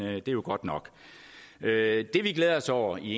er jo godt nok det vi glæder os over i